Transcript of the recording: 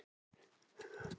Ég sá dóttur. hennar.